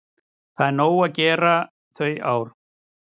Það var nóg að gera þau ár.